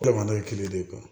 Jamana ye kelen de ye